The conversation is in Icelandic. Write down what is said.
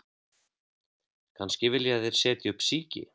Kannski vilja þeir setja upp síki